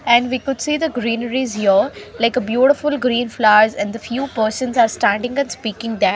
And we could see the greeneries here like a beautiful green flowers and few persons are standing and speaking there.